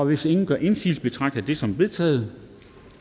hvis ingen gør indsigelse betragter jeg det som vedtaget